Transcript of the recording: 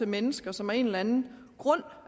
mennesker som af en eller anden grund